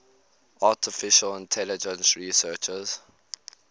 artificial intelligence researchers